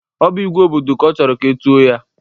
Ọ bụ "igwe obodo" ka ọ chọrọ ka e tuo ya?